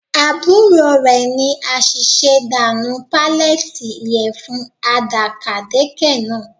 Àbúrò rẹ̀ ní àṣìṣe dà nù pallete ìyẹ̀fun àdàkàdekè náà